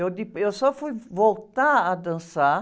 Eu de, eu só fui voltar a dançar...